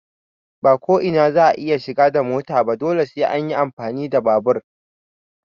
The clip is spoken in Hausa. Ba ko ina za a iya shiga da mota ba dole sai an yi amfani da babur.